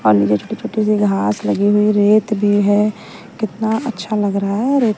और नीचे छोटी-छोटी सी घास लगी हुई रेत भी है कितना अच्छा लग रहा है रेत--